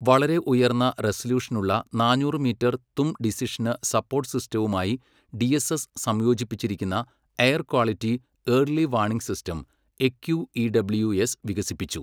വളരെ ഉയർന്ന റെസല്യൂഷനുള്ള നാനൂറ് മീറ്റർ തും ഡിസിഷന് സപ്പോര്ട്ട് സിസ്റ്റവുമായി ഡിഎസ്എസ് സംയോജിപ്പിച്ചിരിക്കുന്ന air quality early warning system AQEWS വികസിപ്പിച്ചു.